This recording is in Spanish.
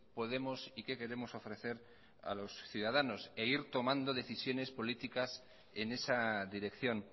podemos y qué queremos ofrecer a los ciudadanos e ir tomando decisiones políticas en esa dirección